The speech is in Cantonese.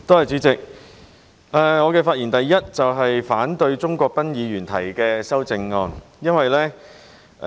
主席，我的發言首先是反對鍾國斌議員提出的修正案。